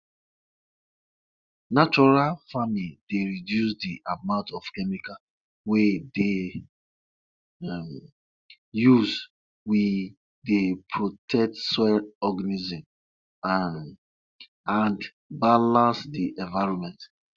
people wey dey make leather dey spread de animal skin well for frame wey dem use wood make so dat e go dry well